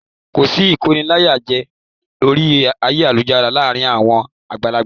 Kòsí ìkóniláyàjẹ orí ayélujára láàrin àwọn àgbàlagbà.